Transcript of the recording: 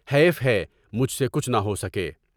حیف ہے مجھ سے کچھ نہ ہو سکے۔